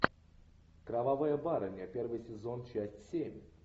кровавая барыня первый сезон часть семь